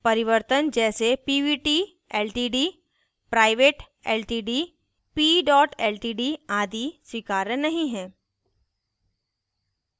परिवर्तन जैसे pvt ltd private ltd p ltd आदि स्वीकार्य नहीं है